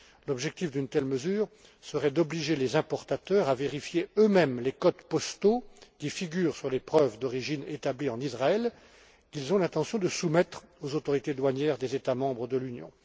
L'objectif d'une telle mesure serait d'obliger les importateurs à vérifier eux mêmes les codes postaux qui figurent sur les preuves d'origine établies en Israël qu'ils ont l'intention de soumettre aux autorités douanières des États membres de l'Union.